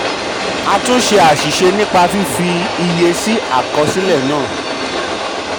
a túnṣe àṣìṣe nípa fífi iye tuntun sí àkọsílẹ náà. um